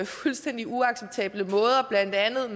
fuldstændig uacceptable måder blandt andet